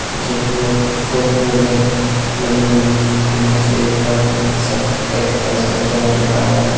पीछे की ओर दो ट्रेडमिल लगी हुई है जिनमें से एक पर एक सख्श एक्सरसाइज करता हुआ दिख रहा है।